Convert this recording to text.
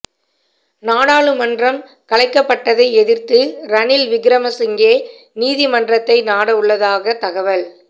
நாடாளுமன்றம் கலைக்கப்பட்டதை எதிர்த்து ரணில் விக்ரமசிங்கே நீதிமன்றத்தை நாட உள்ளதாக தகவல்